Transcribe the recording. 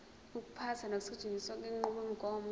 ukuphatha nokusetshenziswa kwenqubomgomo